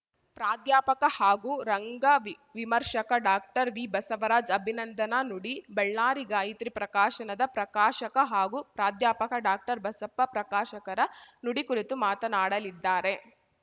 ಪ್ರಾಧ್ಯಾಪಕ ಹಾಗೂ ರಂಗವಿವಿಮರ್ಶಕ ಡಾಕ್ಟರ್ ವಿಬಸವರಾಜ್‌ ಅಭಿನಂದನಾ ನುಡಿ ಬಳ್ಳಾರಿ ಗಾಯತ್ರಿ ಪ್ರಕಾಶನದ ಪ್ರಕಾಶಕ ಹಾಗೂ ಪ್ರಾಧ್ಯಾಪಕ ಡಾಕ್ಟರ್ಬಸಪ್ಪ ಪ್ರಕಾಶಕರ ನುಡಿ ಕುರಿತು ಮಾತನಾಡಲಿದ್ದಾರೆ